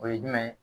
O ye jumɛn ye